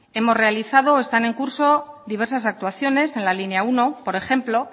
hemos realizado y están en curso diversas actuaciones en la línea uno por ejemplo